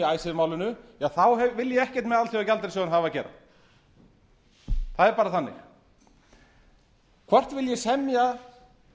icesave málinu þá vil ég ekkert með alþjóðagjaldeyrissjóðinn hafa að gera það er bara þannig hvort vil ég semja